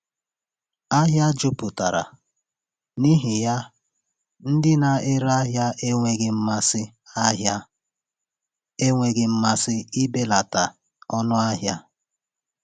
Ahịa jupụtara, n’ihi ya ndị na-ere ahịa enweghị mmasị ahịa enweghị mmasị ibelata ọnụ ahịa.